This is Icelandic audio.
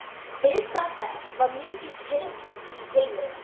Viðstaða þess var mikið krydd í tilveruna.